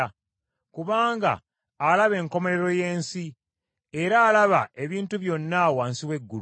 kubanga alaba enkomerero y’ensi era alaba ebintu byonna wansi w’eggulu.